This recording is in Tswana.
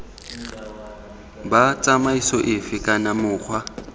b tsamaiso efe kana mokgwa